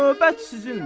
Növbə sizindir.